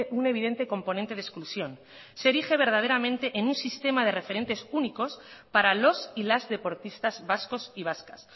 un evidente componente de exclusión se erige verdaderamente en un sistema de referentes únicos para los y las deportistas vascos y vascas